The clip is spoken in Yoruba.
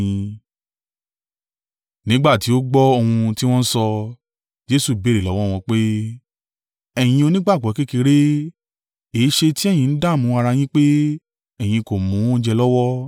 Nígbà tí ó gbọ́ ohun ti wọ́n ń sọ, Jesu béèrè lọ́wọ́ wọn pé, “Ẹ̀yin onígbàgbọ́ kékeré, èéṣe tí ẹ̀yin ń dààmú ara yín pé ẹ̀yin kò mú oúnjẹ lọ́wọ́?